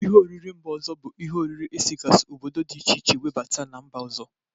Ihe oriri mba ọzọ bụ ihe oriri esigasi obodo dị iche iche nwebata na mba ọzọ.